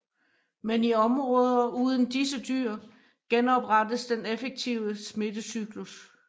Men i områder uden disse dyr genoprettes den effektive smittecyklus